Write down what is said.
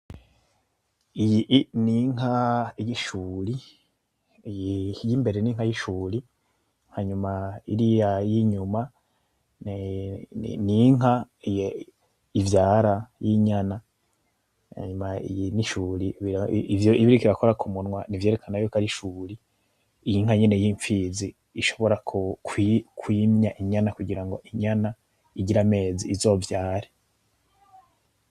Iyi i n'inka y'ishuri, iyi ir'imbere n'inka y'ishuri hanyuma iriya ir'inyuma n'inka ivyara y'inyana, hanyuma iyi n'ishuri ivyo iba iriko irakora ku munwa n'ivyerekana ko ar'ishuri, inka nyene y'impfizi ishobora (kwi) kwimya inyana kugira ngo inyana igire amezi, izovyare.